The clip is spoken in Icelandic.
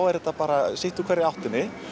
er þetta bara sitt úr hverri áttinni